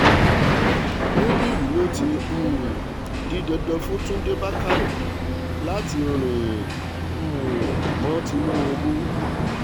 níbí yìí ló ti um di dandan fún túnde bàkórè láti rìn um mọ́ tinubu